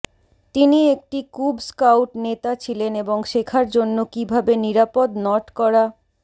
তিনি একটি cub scout নেতা ছিলেন এবং শেখার জন্য কিভাবে নিরাপদ নট করা